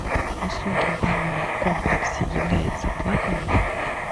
услуги в банном комплексе являются платными